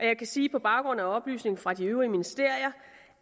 jeg kan sige på baggrund af oplysninger fra de øvrige ministerier